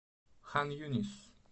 хан юнис